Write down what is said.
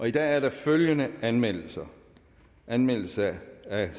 i dag er der følgende anmeldelser anmeldelser